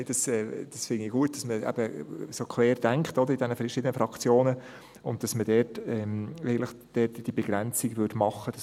Ich finde es gut, dass man in den verschiedenen Fraktionen so querdenkt und dass man diese Begrenzung dort machen würde.